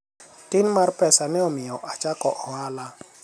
tin mar pesa ne omiyo achako ohala